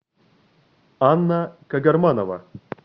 анна кагарманова